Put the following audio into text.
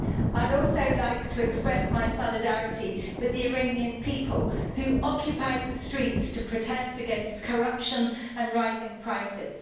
I'd also like to express my solidarity with the Iranian people, who occupied the streets to protest against corruption and rising prices.